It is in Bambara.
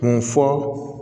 Kun fɔ